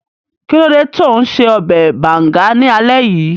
Kí ló dé tó un ṣe ọbẹ̀ bàùngá ní alé yìí?